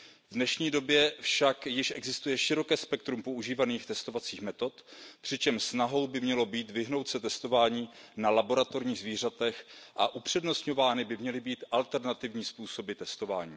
V dnešní době však již existuje široké spektrum používaných testovacích metod, přičemž snahou by mělo být vyhnout se testování na laboratorních zvířatech a upřednostňovány by měly být alternativní způsoby testování.